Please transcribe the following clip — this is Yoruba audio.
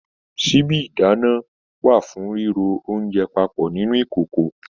Síbi ìdáná wà fún riro oúnjẹ papọ nínú ìkòkò.